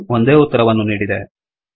ಇದು ಒಂದೇ ಉತ್ತರವನ್ನು ನೀಡಿದೆ